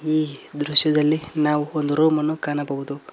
ಈ ದೃಶ್ಯದಲ್ಲಿ ನಾವು ಒಂದು ರೂಮ್ ಅನ್ನು ಕಾಣಬಹುದು.